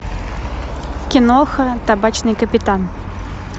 киноха табачный капитан